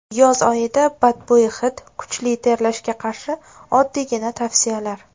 Yoz oyida badbo‘y hid, kuchli terlashga qarshi oddiygina tavsiyalar.